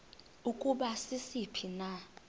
ukuba sisiphi na